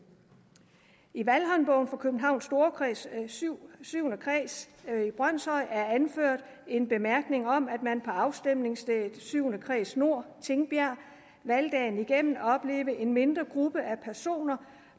i valghåndbogen for københavns storkreds syvende syvende kreds brønshøj er anført en bemærkning om at man på afstemningsstedet syvende kreds nord tingbjerg valgdagen igennem oplevede en mindre gruppe